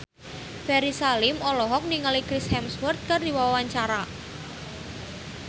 Ferry Salim olohok ningali Chris Hemsworth keur diwawancara